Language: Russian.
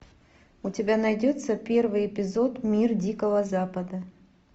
у тебя найдется первый эпизод мир дикого запада